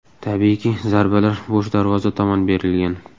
Tabiiyki, zarbalar bo‘sh darvoza tomon berilgan.